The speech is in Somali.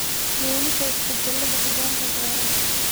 Keenida isbedelada hogaanka beeraha.